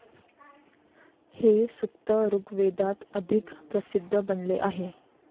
हे सूक्त ऋग्वेदात अधिक प्रसिद्ध बनले आहे.